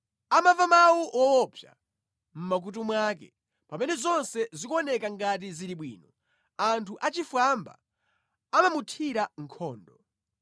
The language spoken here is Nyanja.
Amamva mawu owopsa mʼmakutu mwake, pamene zonse zikuoneka ngati zili bwino, anthu achifwamba amamuthira nkhondo.